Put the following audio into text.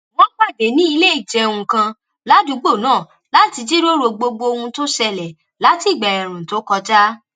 wón pàdé ní ilé ìjẹun kan ládùúgbò náà láti jíròrò gbogbo ohun tó ṣẹlè láti ìgbà èèrùn tó kọjá